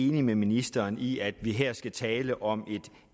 enig med ministeren i at vi her skal tale om